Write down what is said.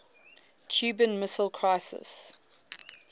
cuban missile crisis